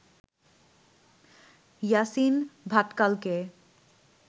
Yasin ভাটকালকে